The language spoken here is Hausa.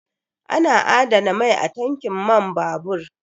Ana adana mai a tankin man babur